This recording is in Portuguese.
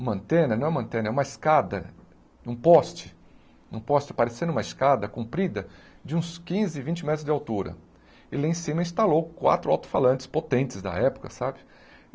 uma antena, não é uma antena, é uma escada, um poste, um poste parecendo uma escada, comprida, de uns quinze, vinte metros de altura, e lá em cima instalou quatro alto-falantes potentes da época, sabe?